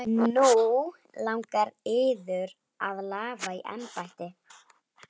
Nú langar yður að lafa í embætti?